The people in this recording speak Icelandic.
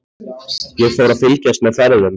Ég fór að fylgjast með ferðum